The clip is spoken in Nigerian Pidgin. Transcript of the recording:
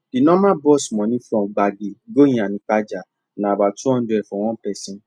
the normal bus money from gbagi go iyanaipaja na about two hundred for one person